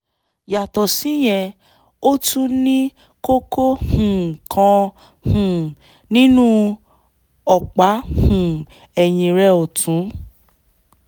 yàtọ̀ síyẹn ó tún ní kókó um kan um nínú ọ̀pá um ẹ̀yìn rẹ̀ ọ̀tún